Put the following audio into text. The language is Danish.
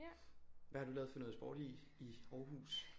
Hvad har du lavet for noget sport i i Aarhus